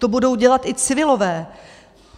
To budou dělat i civilové.